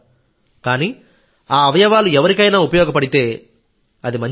కానీ ఆ అవయవాలు ఎవరికైనా ఉపయోగపడితేఅది మంచి పని